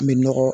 An bɛ nɔgɔ